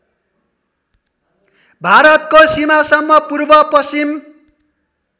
भारतको सिमासम्म पूर्वपश्चिम